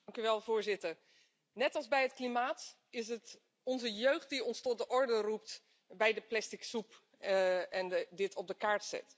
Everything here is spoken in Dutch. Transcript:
Voorzitter, net als bij het klimaat is het onze jeugd die ons tot de orde roept bij de plastic soep en die dit op de kaart zet.